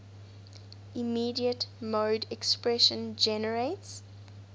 immediate mode expression generates